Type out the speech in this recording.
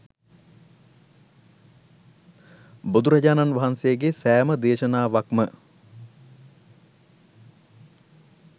බුදුරජාණන් වහන්සේගේ සෑම දේශනාවක්ම